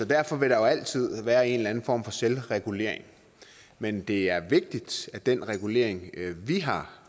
derfor vil der jo altid være en eller anden form for selvregulering men det er vigtigt at den regulering vi har